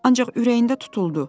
Ancaq ürəyində tutuldu.